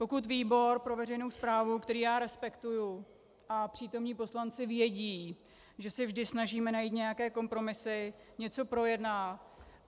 Pokud výbor pro veřejnou správu, který já respektuji, a přítomní poslanci vědí, že se vždy snažíme najít nějaké kompromisy, něco projednat.